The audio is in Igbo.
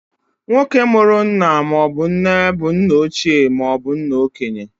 Nwoke mụrụ nna maọbụ nne bụ nna ochie maobu nna okenye.